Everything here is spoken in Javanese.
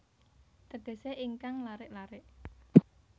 Tegesé ingkang larik larik